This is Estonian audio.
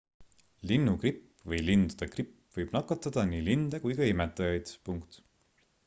linnugripp või lindude gripp võib nakatada nii linde kui ka imetajaid